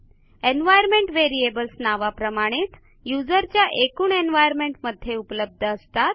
environment variables नावाप्रमाणेच युजरच्या एकूण एन्व्हायर्नमेंट मध्ये उपलब्ध असतात